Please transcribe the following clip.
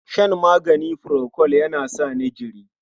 Shan magani furokol yana sa ni jiri.